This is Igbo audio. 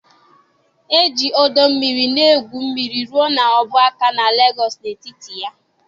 E ji ọdọ mmiri na-egwu mmiri rụọ n'ọbụ aka na Lagos na etiti ya.